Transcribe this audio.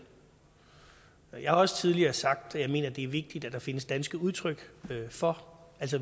der gør jeg har også tidligere sagt at jeg mener det er vigtigt at der findes danske udtryk for